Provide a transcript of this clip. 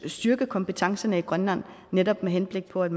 styrke kompetencerne i grønland netop med henblik på at